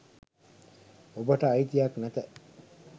ඔබට අයිතියක් නැත.